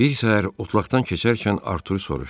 Bir səhər otlaqdan keçərkən Artur soruşdu: